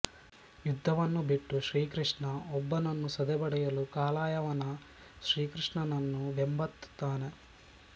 ಯುದ್ಧವನ್ನು ಬಿಟ್ಟು ಶ್ರೀಕೃಷ್ಣ ಒಬ್ಬನನ್ನು ಸದೆಬಡಿಯಲು ಕಾಲಯವನ ಶ್ರೀಕೃಷ್ಣನನ್ನು ಬೆಂಬತ್ತುತ್ತಾನೆ